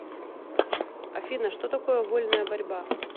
афина что такое вольная борьба